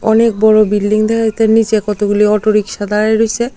অনেক বড়ো বিল্ডিং দেখা যাইতে তার নীচে কতগুলি অটোরিক্সা দাঁড়ায় রইছে।